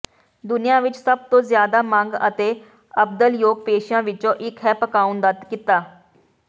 ਦੁਨੀਆ ਵਿੱਚ ਸਭ ਤੋਂ ਜਿਆਦਾ ਮੰਗ ਅਤੇ ਅਬਦਲਯੋਗ ਪੇਸ਼ਿਆਂ ਵਿੱਚੋਂ ਇੱਕ ਹੈ ਪਕਾਉਣ ਦਾ ਕਿੱਤਾ